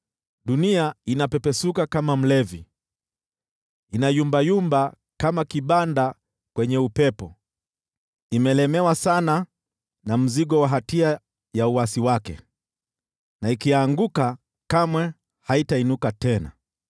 Dunia inapepesuka kama mlevi, inayumbayumba kama kibanda kwenye upepo; imelemewa sana na mzigo wa hatia ya uasi wake na ikianguka kamwe haitainuka tena.